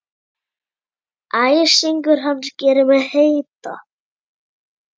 Æsingur hans gerir mig heita.